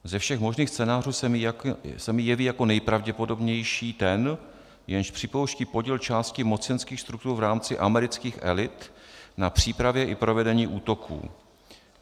Ze všech možných scénářů se mi jeví jako nejpravděpodobnější ten, jenž připouští podíl části mocenských struktur v rámci amerických elit na přípravě i provedení útoků.